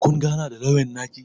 Kun gana da lauyan naki?